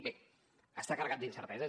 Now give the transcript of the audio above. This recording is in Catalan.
bé està carregat d’incerteses